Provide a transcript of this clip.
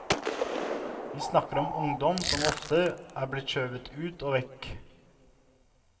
Vi snakker om ungdom som ofte er blitt skjøvet ut og vekk.